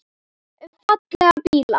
Um fallega bíla.